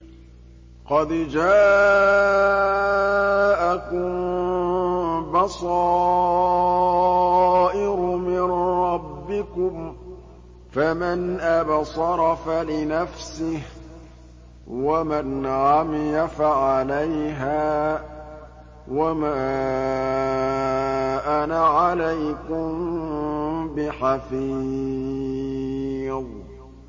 قَدْ جَاءَكُم بَصَائِرُ مِن رَّبِّكُمْ ۖ فَمَنْ أَبْصَرَ فَلِنَفْسِهِ ۖ وَمَنْ عَمِيَ فَعَلَيْهَا ۚ وَمَا أَنَا عَلَيْكُم بِحَفِيظٍ